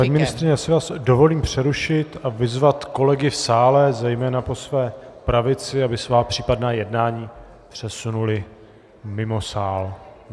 Paní ministryně, já si vás dovolím přerušit a vyzvat kolegy v sále, zejména po své pravici, aby svá případná jednání přesunuli mimo sál.